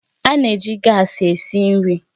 A na-eji gaasi esi nri